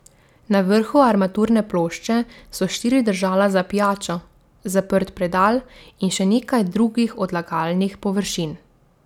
Na vrhu armaturne plošče so štiri držala za pijačo, zaprt predal in še nekaj drugih odlagalnih površin.